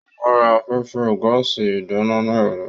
Ó ma ra afẹ́fẹ́ gáàsì ìdáná ní ọ̀la.